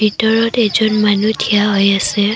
ভিতৰত এজন মানুহ থিয় হৈ আছে।